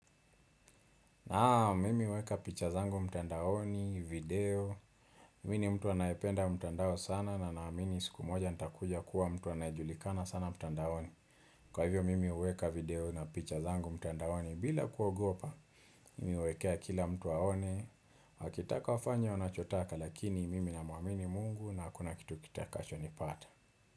Naam mimi huweka picha zangu mtandaoni, video, mi ni mtu anayependa mtandao sana na naamini siku moja nitakuja kuwa mtu anayejulikana sana mtandaoni. Kwa hivyo mimi uweka video na picha zangu mtandaoni bila kuogopa, mimi uwekea kila mtu aone, wakitaka wafanye wanachotaka lakini mimi namuamini mungu na hakuna kitu kitakacho nipata.